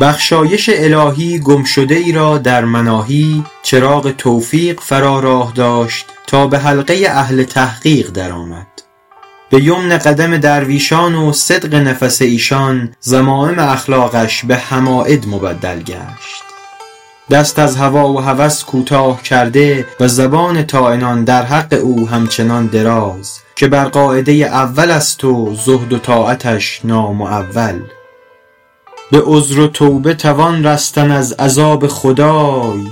بخشایش الهی گم شده ای را در مناهی چراغ توفیق فرا راه داشت تا به حلقه اهل تحقیق در آمد به یمن قدم درویشان و صدق نفس ایشان ذمایم اخلاقش به حماید مبدل گشت دست از هوا و هوس کوتاه کرده و زبان طاعنان در حق او همچنان دراز که بر قاعده اول است و زهد و طاعتش نامعول به عذر و توبه توان رستن از عذاب خدای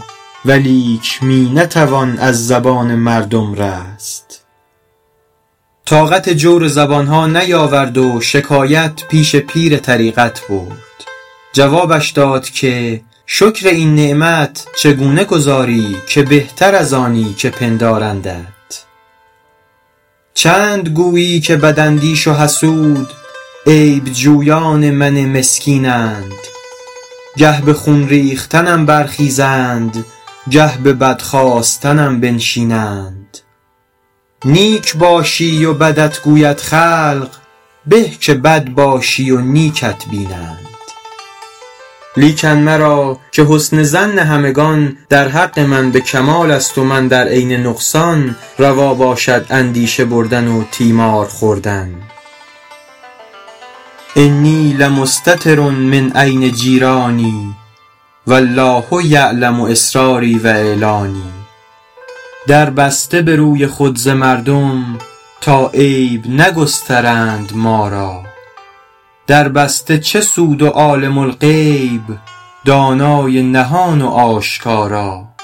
ولیک می نتوان از زبان مردم رست طاقت جور زبان ها نیاورد و شکایت پیش پیر طریقت برد جوابش داد که شکر این نعمت چگونه گزاری که بهتر از آنی که پندارندت چند گویی که بد اندیش و حسود عیب جویان من مسکینند گه به خون ریختنم برخیزند گه به بد خواستنم بنشینند نیک باشی و بدت گوید خلق به که بد باشی و نیکت بینند لیکن مرا -که حسن ظن همگنان در حق من به کمال است و من در عین نقصان روا باشد اندیشه بردن و تیمار خوردن انی لمستتر من عین جیرانی و الله یعلم أسراري و أعلاني در بسته به روی خود ز مردم تا عیب نگسترند ما را در بسته چه سود و عالم الغیب دانای نهان و آشکارا